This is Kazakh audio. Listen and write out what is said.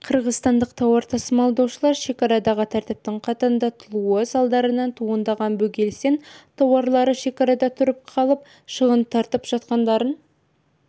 қырғызстандық тауар тасымалдаушылары шекарадағы тәртіптің қатаңдатылуы салдарынан туындаған бөгелістен тауарлары шекарада тұрып қалып шығын тартып жатқандарын